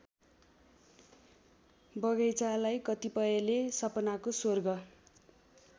बगैंचालाई कतिपयले सपनाको स्वर्ग